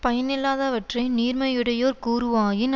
பயனில்லாதவற்றை நீர்மையுடையோர் கூறுவாயின்